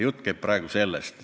Jutt käib praegu sellest.